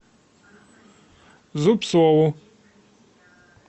зубцову